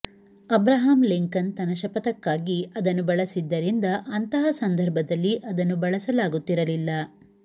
Abraham Lincoln ತನ್ನ ಶಪಥಕ್ಕಾಗಿ ಅದನ್ನು ಬಳಸಿದ್ದರಿಂದ ಅಂತಹ ಸಂದರ್ಭದಲ್ಲಿ ಅದನ್ನು ಬಳಸಲಾಗುತ್ತಿರಲಿಲ್ಲ